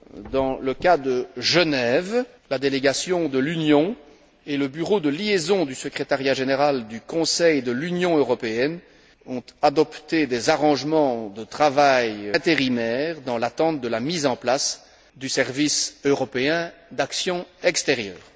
Dans le cas de Genève, la délégation de l'Union et le bureau de liaison du secrétariat général du Conseil de l'Union européenne ont adopté des modalités de travail temporaires dans l'attente de la mise en place du service européen d'action extérieure.